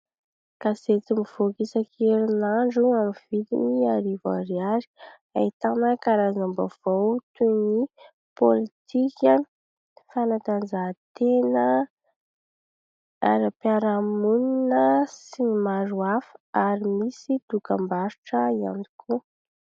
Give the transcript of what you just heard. Gazety mivoaka isan-kerinandro amin'ny vidiny arivo ariary, ahitana karazam-baovao toy ny pôlitika, fanatanjahatena, ara-piaraha-monina sy ny maro hafa ary misy dokam-barotra ihany koa.